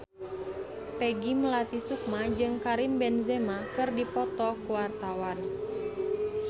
Peggy Melati Sukma jeung Karim Benzema keur dipoto ku wartawan